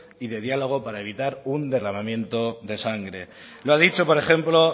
y de diálogo para evitar un derramamiento de sangre lo ha dicho por ejemplo